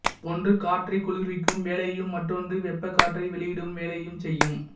ஒன்று காற்றைக் குளிர்விக்கும் வேலையையும் மற்றொன்று வெப்பக் காற்றை வெளியிடும் வேலையையும் செய்யும்